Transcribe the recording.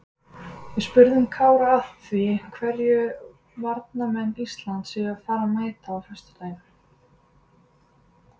Við spurðum Kára að því hverju varnarmenn Íslands séu að fara að mæta á föstudaginn?